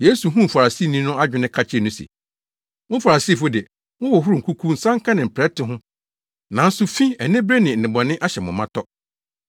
Yesu huu Farisini no adwene ka kyerɛɛ no se, “Mo Farisifo de, mohohoro nkuku nsanka ne mprɛte ho, nanso fi, anibere ne nnebɔne ahyɛ mo ma tɔ!